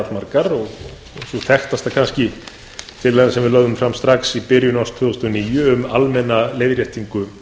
allmargar og sú þekktasta kannski tillaga sem við lögðum fram strax í byrjun árs tvö þúsund og níu um almenna leiðréttingu